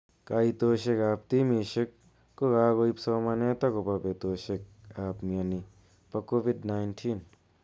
Kaitoshek ab timishek ko kakoib somanet akobo betoshek ab mnyeni bo COVID - 19.